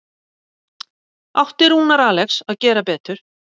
Átti Rúnar Alex að gera betur?